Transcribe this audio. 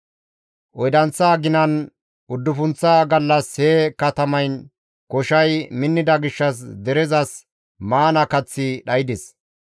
Oydanththa aginan uddufunththa gallas he katamayn koshay minnida gishshas derezas maana kaththi dhaydes.